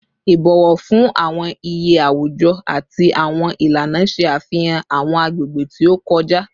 Ibọwọ fun awọn iye awujọ ati awọn ilana ṣe afihan awọn agbegbe ti o kọja